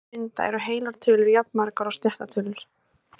Til að mynda eru heilar tölur jafnmargar og sléttar tölur!